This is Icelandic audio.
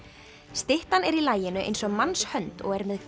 styttan er í laginu eins og mannshönd og er með